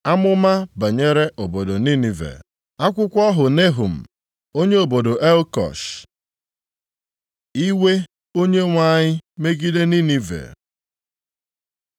Amụma banyere obodo Ninive. Akwụkwọ ọhụ Nehum, onye obodo Elkosh. Iwe Onyenwe anyị megide Ninive